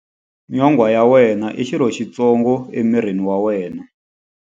Nyonghwa ya wena i xirho xitsongo emirini wa wena.